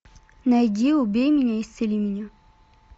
найди убей меня исцели меня